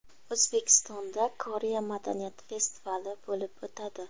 O‘zbekistonda Koreya madaniyati festivali bo‘lib o‘tadi.